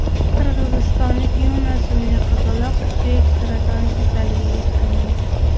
Qirg‘izistonlik Yuna ismli qizaloq suyak saratoni kasalligiga chalingan.